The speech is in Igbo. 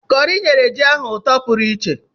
Kọri nyere anụ ahụ isi ọma